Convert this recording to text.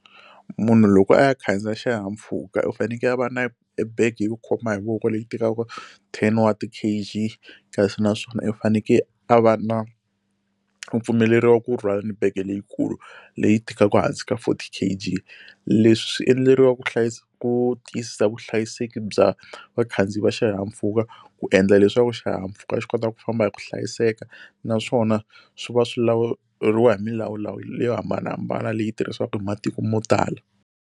Munhu loko a ya khandziya xihahampfhuka u fanekele a va na ebege yo khoma hi voko leyi tikaka ten wa ti-K_g, kasi naswona u fanekele a va na u pfumeleriwa ku rhwala ni bege leyikulu leyi tikaka hansi ka forty K_g. Leswi swi endleriwa ku ku tiyisisa vuhlayiseki bya vakhandziyi va xihahampfhuka, ku endla leswaku xihahampfhuka xi kota ku famba hi ku hlayiseka naswona swi va swi lawuriwa hi milawulawu leyi yo hambanahambana leyi tirhisiwaka hi matiko mo tala.